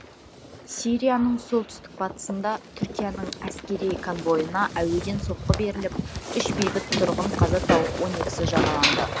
сирияның солтүстік батысында түркияның әскери конвойына әуеден соққы беріліп үш бейбіт тұрғын қаза тауып он екісі жараланды